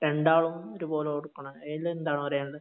രണ്ടാളും ഒരുപോലെ കൊടുക്കണോ അതിലെന്താണ് പറയാനുള്ളത്